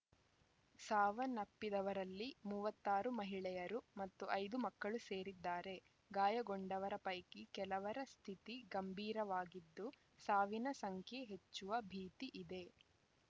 ಸಾವನ್ನಪ್ಪಿದವರಲ್ಲಿ ಮೂವತ್ತ್ ಆರು ಮಹಿಳೆಯರು ಮತ್ತು ಐದು ಮಕ್ಕಳು ಸೇರಿದ್ದಾರೆ ಗಾಯಗೊಂಡವರ ಪೈಕಿ ಕೆಲವರ ಸ್ಥಿತಿ ಗಂಭೀರವಾಗಿದ್ದು ಸಾವಿನ ಸಂಖ್ಯೆ ಹೆಚ್ಚುವ ಭೀತಿ ಇದೆ